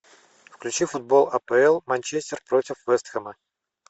включи футбол апл манчестер против вест хэма